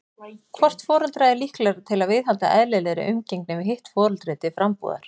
Hvort foreldra er líklegra til að viðhalda eðlilegri umgengni við hitt foreldri til frambúðar?